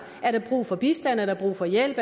er der brug for bistand er der brug for hjælp